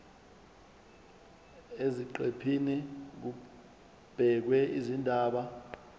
eziqephini kubhekwe izindaba